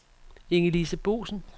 Inge-Lise Boesen